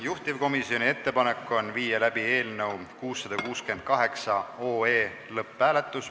Juhtivkomisjoni ettepanek on viia läbi eelnõu 668 lõpphääletus.